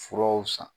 Furaw san